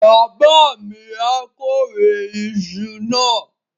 Bàbá mi á kórè iṣu náà.